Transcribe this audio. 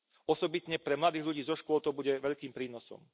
Osobitne pre mladých ľudí zo škôl to bude veľkým prínosom.